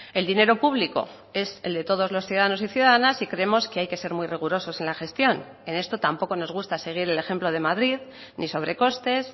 el dinero público es el de todos los ciudadanos y ciudadanas y creemos que hay que ser muy rigurosos en la gestión en esto tampoco nos gusta seguir el ejemplo de madrid ni sobre costes